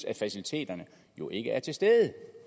at faciliteterne jo ikke er til stede